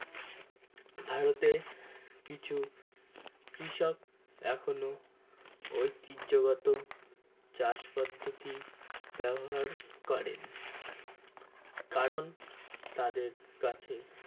ভারতে কিছু কৃষক এখনো ঐতিহ্যগত চাষ পদ্ধতি ব্যবহার করে কারণ তাদের কাছে